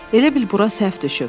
Elə bil bura səhv düşüb.